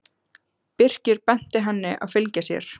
Birkir benti henni að fylgja sér.